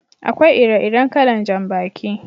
Akwai ire-iren kalan jan baki.